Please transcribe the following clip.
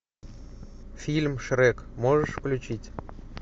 фильм шрек можешь включить